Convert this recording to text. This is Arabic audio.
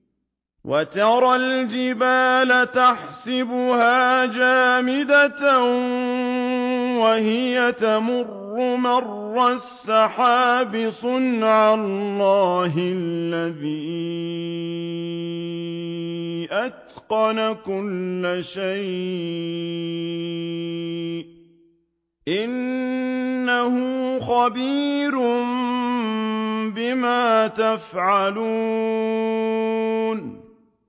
وَتَرَى الْجِبَالَ تَحْسَبُهَا جَامِدَةً وَهِيَ تَمُرُّ مَرَّ السَّحَابِ ۚ صُنْعَ اللَّهِ الَّذِي أَتْقَنَ كُلَّ شَيْءٍ ۚ إِنَّهُ خَبِيرٌ بِمَا تَفْعَلُونَ